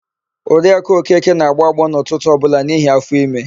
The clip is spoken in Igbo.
Oriakụ Okeke na-agbọ agbọọ n'ụtụtụ ọbụla n'ihi áfọ̀ime.